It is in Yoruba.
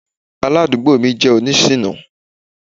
Aládùúgbò mi jẹ́ oní ṣìná.